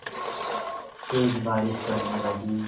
तेज़ बारिश पड़ने लगी